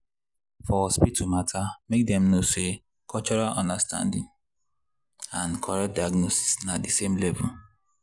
for hospital matter make dem know say cultural understanding and correct diagnosis na the same level.